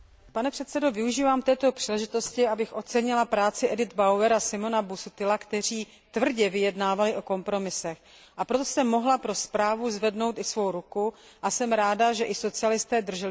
Využívám této příležitosti, abych ocenila práci Edit Bauerové a Simona Busuttila, kteří tvrdě vyjednávali o kompromisech, a proto jsem mohla pro zprávu zvednout svou ruku, a jsem ráda, že i socialisté drželi slovo.